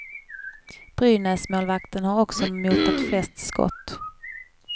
Brynäsmålvakten har också motat flest skott.